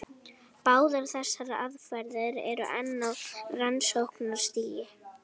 Báðar þessar aðferðir eru enn á rannsóknarstigi.